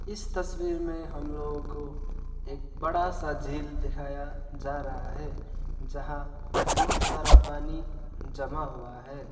इस तस्वीर में हम लोगो को एक बड़ा सा जेल दिखाई जा रहा है जहां बहोत सारा पानी जमा हुआ है।